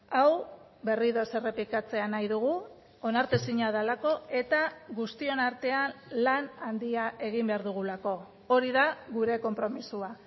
hau berriro ez errepikatzea nahi dugu onartezina delako eta guztion artean lan handia egin behar dugulako hori da gure konpromisoa